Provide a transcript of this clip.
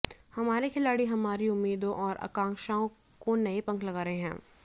हमारे खिलाड़ी हमारी उम्मीदों और आकांक्षाओं को नए पंख लगा रहे हैं